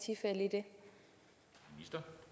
at vi